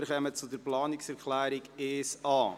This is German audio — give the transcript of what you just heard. Wir kommen zu Planungserklärung 1a.